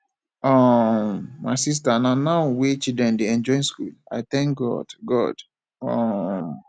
um my sister na now wey children dey enjoy school i thank god god um